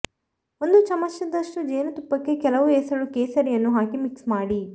ಒಂದು ಚಮಚದಷ್ಟು ಜೇನುತುಪ್ಪಕ್ಕೆ ಕೆಲವು ಎಸಳು ಕೇಸರಿಯನ್ನು ಹಾಕಿ ಮಿಕ್ಸ್ ಮಾಡಿ